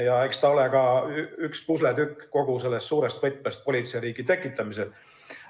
Ja eks ta ole ka üks pusletükk sellest suurest võtmest politseiriigi tekitamisel.